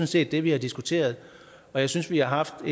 set det vi har diskuteret jeg synes vi har haft